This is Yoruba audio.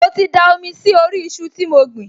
Mo ti da omi sí orí iṣu tí mo gbìn